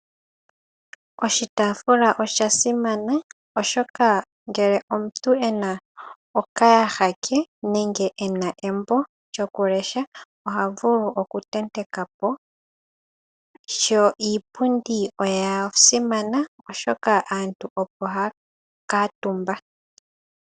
Oshitaafula osha simana oshoka ngele omuntu ena okayaha ke, nenge ena embo oha vulu oku tenteka po. Ishewe iipundi oya simana oshoka aantu opo haya kuutumba.